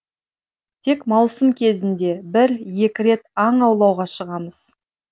тек маусым кезінде бір екі рет аң аулауға шығамыз